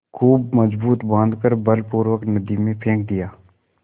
खूब मजबूत बॉँध कर बलपूर्वक नदी में फेंक दिया